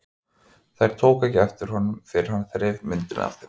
Þær tóku ekki eftir honum fyrr en hann þreif myndina af þeim.